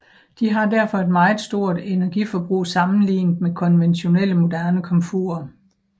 De har derfor et meget stort energiforbrug sammenligne med konventionelle moderne komfurer